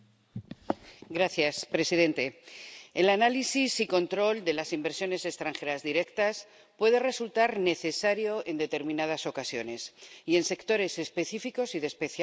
Señor presidente, el análisis y control de las inversiones extranjeras directas puede resultar necesario en determinadas ocasiones y en sectores específicos y de especial importancia.